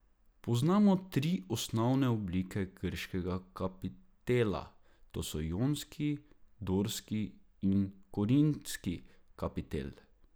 Poznamo tri osnovne oblike grškega kapitela, to so jonski, dorski in korintski kapitel.